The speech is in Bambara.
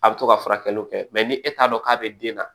A bɛ to ka furakɛliw kɛ mɛ ni e t'a dɔn k'a bɛ den na